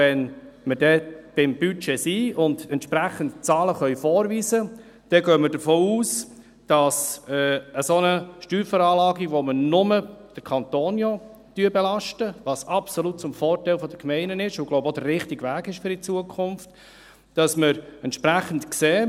Wenn wir dann beim Budget sind und die entsprechenden Zahlen vorweisen können, gehen wir davon aus, dass wir bei einer solchen Steuerveranlagung, bei der wir nur den Kanton belasten – was absolut zum Vorteil der Gemeinden ist und auch in Zukunft der richtige Weg ist, glaube ich –, entsprechend sehen: